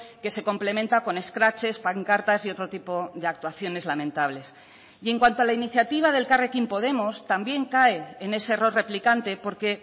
que se complementa con escraches pancartas y otro tipo de actuaciones lamentables y en cuanto a la iniciativa de elkarrekin podemos también cae en ese error replicante porque